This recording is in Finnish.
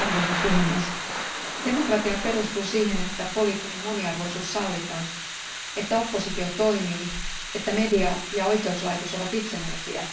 Arvoisa puhemies, demokratia perustuu siihen, että poliittinen moniarvoisuus sallitaan, että oppositio toimii, että media ja oikeuslaitos ovat itsenäisiä